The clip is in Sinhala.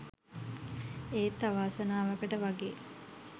ඒත් අවාසනාවකට වගේ